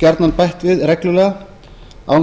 gjarnan bætt við reglulega án þess að